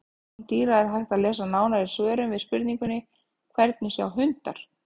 Um sjón dýra er hægt að lesa nánar í svörum við spurningunum: Hvernig sjá hundar?